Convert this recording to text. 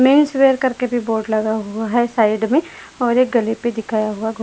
Men's wear करके भी board लगा हुआ है साइड में और एक गले पर दिखाया हुआ घोड़ा है।